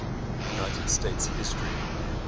united states history